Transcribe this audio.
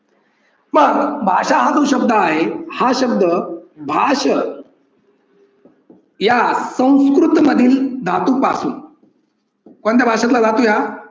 मग भाषा हा जो शब्द आहे हा शब्द भाष या संस्कृतमधील धातूपासून. कोणत्या भाषेतला धातु आहे? हा